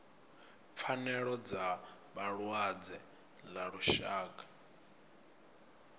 pfanelo dza vhalwadze ḽa lushaka